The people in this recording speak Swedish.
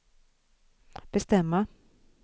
bestämma